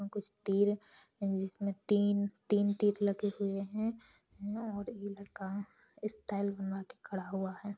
कुछ तीर जिसमें तीन तीन तीर लगे हुए है और ये लड़का स्टाइल बनवा के खड़ा हुआ है।